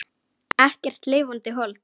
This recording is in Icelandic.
Ekkert lifandi hold.